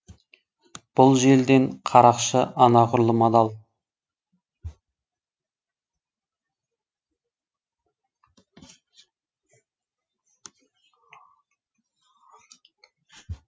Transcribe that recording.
бұл желден қарақшы анағұрлым адал